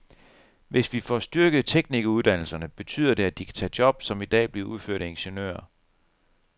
Hvis vi får styrket teknikeruddannelserne, betyder det, at de kan tage job, som i dag bliver udført af ingeniører.